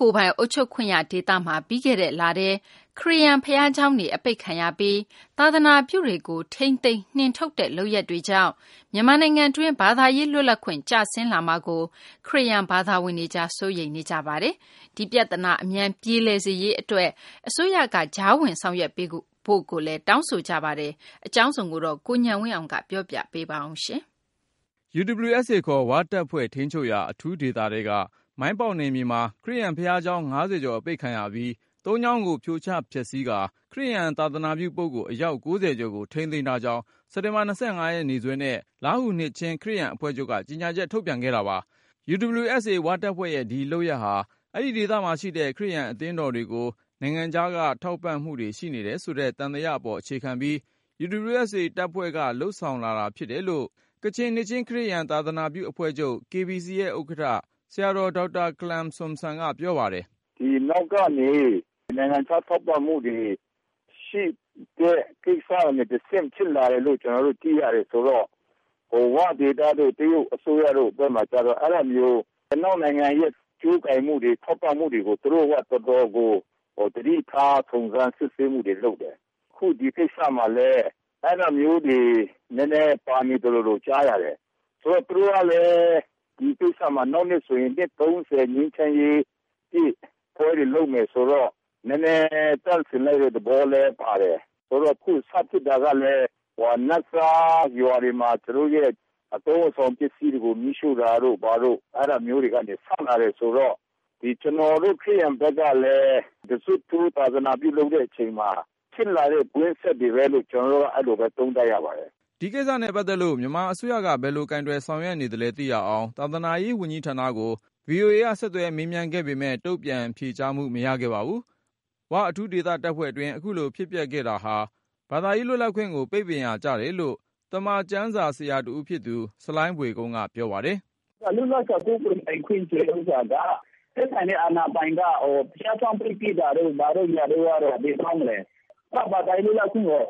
ကိုယ်ပိုင်အုပ်ချုပ်ခွင့်ရ ဒေသမှာ ပြီးခဲ့လထဲ ခရစ်ယာန်ဘုရားကျောင်းတွေ အပိတ်ခံရပြီး၊ သာသာနာပြုတွေကို ထိန်းသိမ်း- နှင်ထုတ်တဲ့ လုပ်ရပ်တွေကြောင့် မြန်မာနိုင်ငံအတွင်း ဘာသာရေး လွတ်လပ်ခွင့် ကျဆင်းလာမှာကို ခရစ်ယာန်ဘာသာဝင်တွေကြား စိုးရိမ်နေကြပါတယ်။ ဒီပြဿနာ အမြန် ပြေလည်စေရေးအတွက် အစိုးရက ကြားဝင်ဆောင်ရွက်ပေးဖို့ကိုလည်း တောင်းဆိုကြပါတယ်။ အကြောင်းစုံကိုတော့ ကိုဉာဏ်ဝင်းအောင်က ပြောပြမှာပါ။ UWSA ခေါ် ဝတပ်ဖွဲ့ထိန်းချုပ်ရာ အထူးဒေသထဲက မိုင်းပေါက်နယ်မြေမှာ ခရစ်ယာန်ဘုရားကျောင်း ၅၀ ကျော်အပိတ်ခံရပြီး၊ ၃ ကျောင်းကို ဖြိုချဖျက်ဆီးကာ၊ ခရစ်ယာန် သာသာနာပြုပုဂ္ဂိုလ် အယောက် ၉၀ ကျော်ကို ထိန်းသိမ်းထားကြောင်း စက်တင်ဘာ ရက် နေ့စွဲနဲ့ လားဟူ နှစ်ခြင်း ခရစ်ယာန်အဖွဲ့ချုပ်က ကြေညာချက်ထုတ်ပြန်ခဲ့တာပါ။ UWSA ဝတပ်ဖွဲ့ရဲ့ ဒီလုပ်ရပ်ဟာ အဲဒီဒေသမှာရှိတဲ့ ခရစ်ယာန်အသင်းတော်တွေကို နိုင်ငံခြားက ထောက်ပံ့မှုတွေရှိနေတယ်ဆိုတဲ့ သံသယ အပေါ်အခြေခံပြီး UWSA တပ်ဖွဲ့က လုပ်ဆောင်လာတာ ဖြစ်တယ်လို့ ကချင်နှစ်ခြင်းခရစ်ယာန် သာသနာပြုအဖွဲ့ချုပ် KBC ရဲ့ဥက္ကဌ ဆရာတော် ဒေါက်တာခလမ် ဆန်ဆွန်က ပြောပါတယ်။ "ဒီနောက်ကနေ နိုင်ငံခြားထောက်ပံ့မှုတွေ ရှိတဲ့အတွက် အဲဒီကိစ္စကနေတဆင့် ဖြစ်လာတယ်လို့ ကျနော်တို့ သိရတယ်ဆိုတော့ ဝ ဒေသတို့ တရုတ်အစိုးရဘက်တို့ဘက်မှာကျတော့ ၊ အဲဒါမျိုး အနောက်နိုင်ငံရဲ့ ကြိုးကိုင်မှုတွေ ထောက်ပံ့မှုတွေကို သူတို့က တော်တော်လေး သတိထား စုံစမ်းစစ်ဆေးမှုတွေ လုပ်တယ်။ အခု ဒီကိစ္စမှာလည်း အဲဒါမျိုးတွေ နည်းနည်းပါနေသလိုမျိုး ကြားရတယ်။ သူတို့ကလည်း ဒီကိစ္စမှာ နောက်နှစ်ဆိုရင် နှစ်၃၀ ပြည့် ငြိမ်းချမ်းရေးပွဲတွေ လုပ်မယ်ဆိုတော့ နည်းနည်း သန့်စင်လိုက်တဲ့ သဘောလည်းပါတယ်။ ဆိုတော့ အခုစဖြစ်တာကလည်း နတ်စားရွာတွေမှာ သူတို့ရဲ့ အသုံးအဆောင်ပစ္စည်းတွေကို မီးရှို့တာတို့ဘာတို့ အဲဒါမျိုးကနေ စတင်လာတာ ဆိုတော့ ကျနော်တို့ ခရစ်ယာန်ဘက်ကလည်း တဇွတ်ထိုး သာသနာပြုလုပ်တဲ့အချိန်မှာ ဖြစ်လာတဲ့ ကွင်းဆက်တွေပဲလို့ ကျနော်ကတော့ အဲလိုပဲ သုံးသပ်ပါတယ်။" ဒီကိစ္စနဲ့ပတ်သက်လို့ မြန်မာအစိုးရက ဘယ်လို ကိုယ်တွယ်ဆောင်ရွက်နေသလဲ သိရအောင် သာသနာရေးဝန်ကြီးဌာနကို VOA က ဆက်သွယ်မေးမြန်း ခဲ့ပေမယ့် တုန့်ပြန်ဖြေကြားမှု မရခဲ့ပါဘူး။ ၀ အထူးတပ်ဖွဲ့ဒေသတွင်း အခုလိုဖြစ်ပျက်ခဲ့တာဟာ ဘာသာရေးလွတ်လပ်ခွင့်ကို ပိတ်ပင်ရာကျတယ်လို့ သမ္မာကျမ်းစာ ဆရာတဦးဖြစ်တဲ့ ဆလိုင်းဘွေကုန်းက ပြောပါတယ်။ "လွတ်လပ်စွာ ကိုးကွယ်ပိုင်ခွင့်ဆိုတဲ့ဟာက သက်ဆိုင်ရာ အာဏာပိုင်တွေက ဘုရားကျောင်းကို ပိတ်ပစ်တာတို့ ဘာတို့ကတော့ ဘယ်ကောင်းမလဲ။ အဲဒါက ဘာသာရေးလွတ်လပ်ခွင့်ကို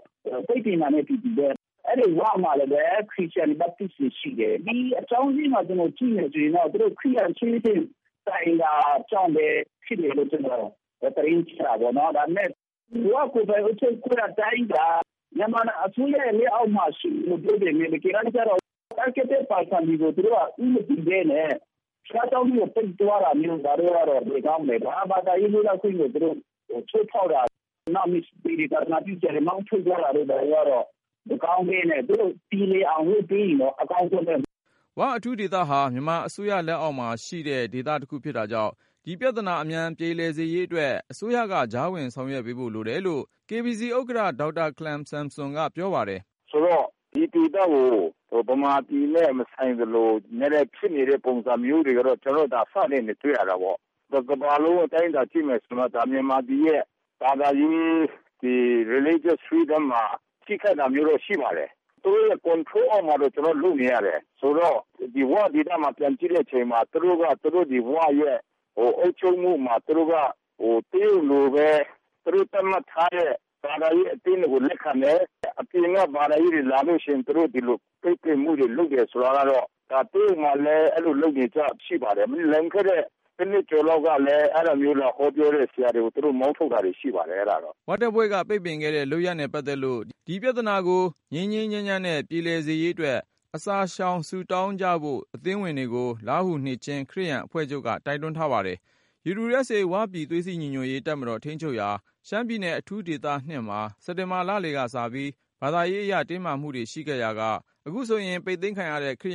ပိတ်ပင်တာနဲ့ အတူတူပဲ ။ အဲဒီ ၀ မှာလည်း ခရစ်ယာန် Baptist တွေရှိတယ်။ ဒီအကြောင်းအရင်းက ကျနော်ကြည့်မယ်ဆိုရင်တော့ သူတို့ ခရစ်ယာန်အချင်းချင်း တိုင်တာကြောင့်ဖြစ်မယ်လို့ ကျနော်သတင်းကြား တာပေါ့နော်။ ဒါပေမယ့် ၀ ကိုယ်ပိုင်အုပ်ချုပ်ခွင့် ဒေသက မြန်မာအစိုးရ လက်အောက်မှာ ရှိတယ်ပြောပေမယ့် တကယ်တမ်းကျတော့ Targeted person တွေကို သူတို့က ဦးမတည်ပဲနဲ့ ဘုရားကျောင်းကို ပိတ်ပစ်တာတို့ ဘာတို့ကတော့ ဘယ်ကောင်းမလဲဗျာ။ အဲဒါက ဘာသာရေးလွတ်လပ်ခွင့်ကို ချိုးဖောက်တာ။ နောက် Missionary သာသနာပြုဆရာတွေကို မောင်းထုတ်တာတို့ကတော့ မကောင်းဘူး၊ သူတို့ပြေလည်အောင်လို့ လုပ်ပေးရင်တော့ အကောင်းဆုံးပဲ" ၀ အထူးဒေသဟာ မြန်မာအစိုးရ လက်အောက်မှာရှိတဲ့ ဒေသတခုဖြစ်တာကြောင့် ဒီပြဿနာ အမြန်ပြေလည်စေရေးအတွက် အစိုးရက ကြားဝင် ဆောင်ရွက်ပေးဖို့လိုတယ်လို့ KBC ဥက္ကဌ ဆရာတော် ဒေါက်တာခလမ် ဆန်ဆွန်က ပြောပါတယ်။ "ဆိုတော့ ဒီဒေသကို မြန်မာပြည်နဲ့ မဆိုင်သလို ဖြစ်နေတဲ့ပုံစံမျိုးတွေကတော့ ကျနော်တို့ အစကတည်းကနေ တွေ့နေရတာပေါ့။ တကမ္ဘာလုံး အတိုင်းအတာနဲ့ ကြည့်ရင်တော့ မြန်မာပြည်ရဲ့ ဘာသာရေး Religious Freedom မှာ ထိခိုက်တာမျိုး ရှိပါတယ်။ သူတို့ Control အောက်မှာ ကျနော်တို့လုပ်နေရတယ်။ ဆိုတော့ ဒီ ဝ ဒေသကိုပြန်ကြည့်တဲ့အချိန်မှာ သူတို့က သူတို့ဒေသရဲ့ အုပ်ချုပ်မှုမှာ တရုတ်လိုပဲ သူတို့သတ်မှတ်ထားတဲ့ ဘာသာရေး အသင်းတွေကိုပဲ လက်ခံမယ်၊ အပြင်က ဘာသာရေးတွေ လာလို့ရှိရင် သူတို့ ဒီလိုပိတ်ပင်မှုတွေ လုပ်တယ်ဆိုတာကတော့ ဒါတရုတ်မှာလည်း အဲလိုလုပ်နေကျ ရှိပါတယ်။ လွန်ခဲ့တဲ့ ၁ နှစ်ကျော်လောက်ကလည်း အဲဒီလို လာဟောပြောတဲ့ ဆရာတွေကို အဲလိုမောင်းထုတ်တာတွေ ရှိပါတယ်။" ဝတပ်ဖွဲ့က ပိတ်ပင်ခဲ့တဲ့ လုပ်ရပ်နဲ့ပတ်သက်လို့ ဒီပြဿနာကို ငြိမ်းငြိမ်းချမ်းချမ်းနဲ့ ပြေလည်စေရေးအတွက် အစာရှောင် ဆုတောင်းကြဖို့ အသင်းဝင်တွေကို လားဟူနှစ်ခြင်း ခရစ်ယာန်အဖွဲ့ချုပ်က တိုက်တွန်းထားပါတယ်။ UWSA ဝပြည် သွေးစည်းညီညွတ်ရေးတပ်မတော် ထိန်းချုပ်ရာ ရှမ်းပြည်နယ် အထူးဒေသ၂ မှာ စက်တင်ဘာ လလယ်ကစပြီး ဘာသာရေးအရ တင်းမာမှုတွေရှိခဲ့ရာက အခုဆိုရင် ပိတ်သိမ်းခံရတဲ့ ခရ